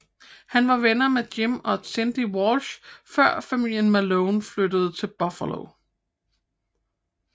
Hun var venner med Jim og Cindy Walsh før familien Malone flyttede til Buffalo